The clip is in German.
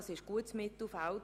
Das ist gutes Mittelfeld.